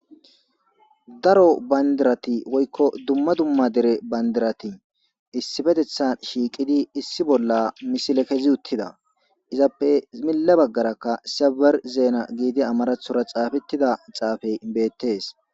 daro bandirati woykko dumma dumma dere bandirati issipetethan shiiqidi issi bolla misile kezi uttida izappe milla baggarakka saber zeena giidi amarathora xaafettida xaafey beettees